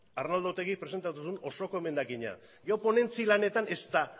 arnaldo otegik presentatu zuen osoko emendakina gero ponentzia lanetan ezta